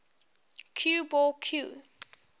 cue ball cue